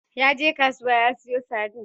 Yaje kasuwa ya siyo sardine.